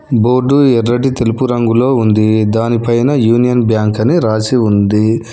Board ఎర్రటి తెలుపు రంగులో ఉంది దానిపైన యూనియన్ బ్యాంక్ అని రాసి ఉంది.